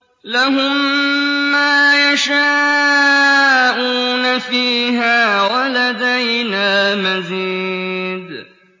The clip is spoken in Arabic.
لَهُم مَّا يَشَاءُونَ فِيهَا وَلَدَيْنَا مَزِيدٌ